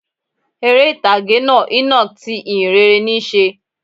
Eré ìtàgé náá "Enoch" ti ìhìnrere níí se